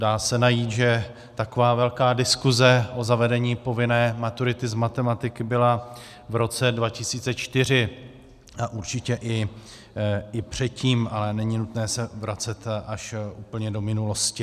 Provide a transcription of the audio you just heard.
Dá se říct, že taková velká diskuse o zavedení povinné maturity z matematiky byla v roce 2004 a určitě i předtím, ale není nutné se vracet až úplně do minulosti.